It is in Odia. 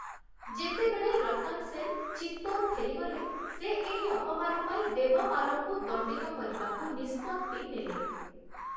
ଯେତେବେଳେ ରତନ ସେନ୍‌ ଚିତ୍ତୋର ଫେରିଗଲେ, ସେ ଏହି ଅପମାନ ପାଇଁ ଦେବପାଲଙ୍କୁ ଦଣ୍ଡିତ କରିବାକୁ ନିଷ୍ପତ୍ତି ନେଲେ ।